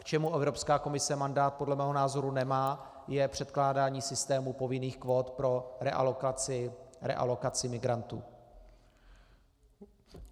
K čemu Evropská komise mandát podle mého názoru nemá, je předkládání systémů povinných kvót pro realokaci migrantů.